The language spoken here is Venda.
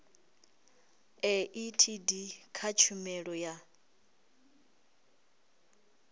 a etd kha tshumelo ya